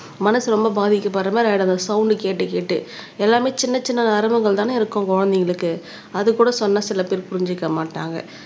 மனசு ரொம்ப பாதிக்கப்படுற மாரி ஆயிடும் அந்த சவுண்ட் கேட்டு கேட்டு எல்லாமே சின்ன சின்ன நரம்புகள்தானே இருக்கும் குழந்தைங்களுக்கு அது கூட சொன்னா சில பேர் புரிஞ்சுக்க மாட்டாங்க